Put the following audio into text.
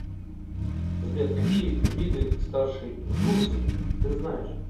сбер какие виды старший жуз ты знаешь